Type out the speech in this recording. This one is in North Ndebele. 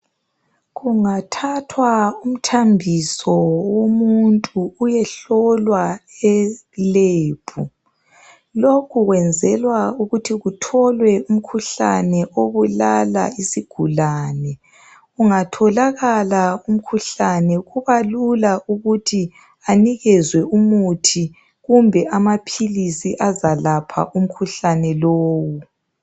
Kungathathwa umthambiso womuntu uyehlolwa e lab, lokhu kwenzelwa ukuthi kutholwe umkhuhlane obulala isigulane. Ungatholakala umkhuhlane kubalula ukuthi anikezwe umuthi kumbe amaphilisi azakwelapha umkhuhlane lowu.